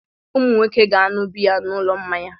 Ụmụ nwoke ga-aṅụ biya n'ụlọ mmanya.